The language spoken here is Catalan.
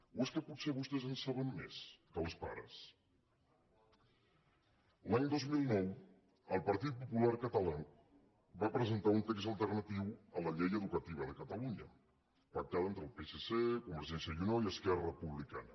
o és que potser vostès en saben més que els pares l’any dos mil nou el partit popular català va presentar un text alternatiu a la llei educativa de catalunya pactada entre el psc convergència i unió i esquerra republicana